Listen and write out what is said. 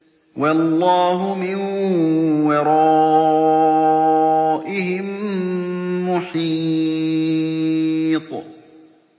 وَاللَّهُ مِن وَرَائِهِم مُّحِيطٌ